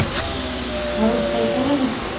ଆଉ ଖାଇ ସାରିଲଣି